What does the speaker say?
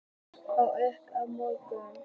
át ábótinn upp mjóróma.